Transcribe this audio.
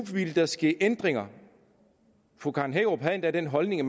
ville ske ændringer fru karen hækkerup havde endda den holdning at